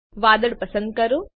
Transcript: વાદળ પસંદ કરો